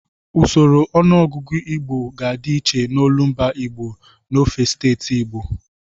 Usoro ọnụọgụgụ Igbo ga-adị iche n'olumba Igbo n'ofe steeti Igbo.